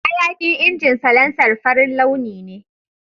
Hayakin injin salancer farin launi ne.